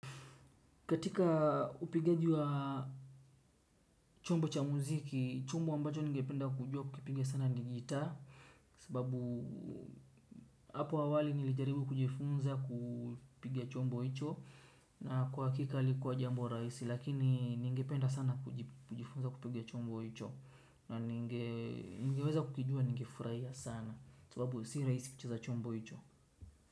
Katika upigaji wa chombo cha muziki, chombo ambacho nigependa kujua kukipiga sana ni jitaa sababu hapo awali nilijaribu kujifunza kupiga chombo hicho na kwa hakika halikuwa jambo rahisi lakini nigependa sana kujifunza kupiga chombo hicho na nigeweza kukijua nigefurahia sana sababu si rahisi kucheza chombo hicho.